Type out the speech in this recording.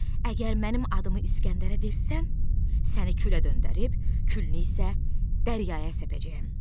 Əgər mənim adımı İsgəndərə versən, səni külə döndərib, külünü isə dənizə səpəcəyəm.